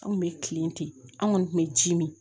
An kun bɛ kilen ten an kɔni tun bɛ ji min